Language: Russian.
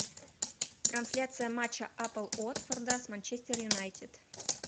трансляция матча апл уотфорда с манчестер юнайтед